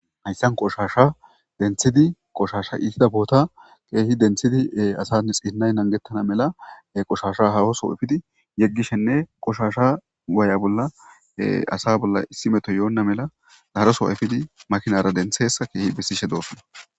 Hayssan qoshasha denthidi qoshasha iisida boota keehi denthidi asani xiinnay nangettana mela qoshasha hawoso ifidi yeggishenne qoshasha waaya bolla asa bolla issi meto yoonna mela daharoso ifidi makinara dentheessa keehi bessishe doosona.